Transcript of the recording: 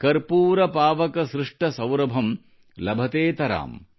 ಕರ್ಪೂರ ಪಾವಕ ಸ್ಪೃಷ್ಟ ಸೌರಭಂ ಲಭತೆತರಾಮ್